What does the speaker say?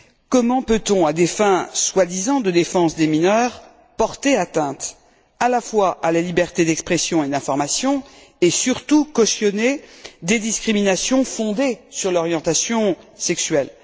Comment peut on, à des fins soi disant de défense des mineurs, porter atteinte à la fois à la liberté d'expression et d'information, et surtout cautionner des discriminations fondées sur l'orientation sexuelle?